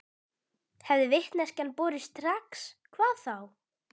Hefði vitneskjan borist strax hvað þá?